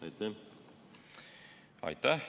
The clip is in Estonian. Aitäh!